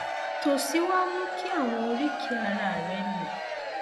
tó sì wá mú kí àwọn oríkèé ara rẹ le